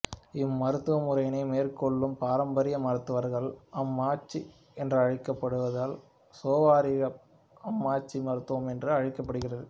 இம்மருத்துவ முறையினை மேற்கொள்ளும் பாரம்பரிய மருத்துவர்கள் ஆம்ச்சி என்றழைக்கப்படுவதால் சோவாரிக்பா ஆம்ச்சி மருத்துவம் என்றும் அழைக்கப்படுகிறது